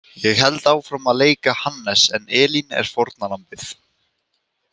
Ég held áfram að leika Hannes en Elín er fórnarlambið.